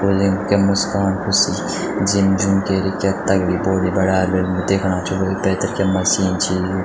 बोलेंद क्या मुस्कान हुसुर जिम जुम कैरिके क्या तगड़ी बॉडी बनायाल वें दिखणा छौ वेक पैथर क्या अच्छी मशीन छी।